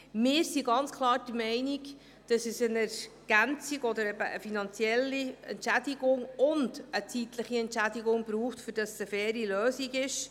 Wir sind ganz klar der Meinung, dass es eine Ergänzung oder eben eine finanzielle Entschädigung und eine zeitliche Entschädigung braucht, damit es eine faire Lösung ist.